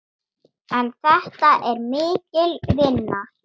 En þetta er mikil vinna.